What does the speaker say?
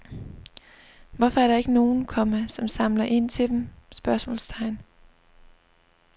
Hvorfor er der ikke nogen, komma som samler ind til dem? spørgsmålstegn